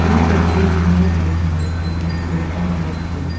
ये तस्वीर लिया गया है किसी कैफे शॉप से।